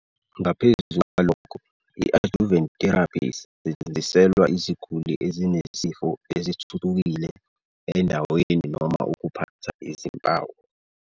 Ngaphezu kwalokho, i-adjuvant therapy isetshenziselwa iziguli ezinesifo esithuthukile endaweni noma ukuphatha izimpawu.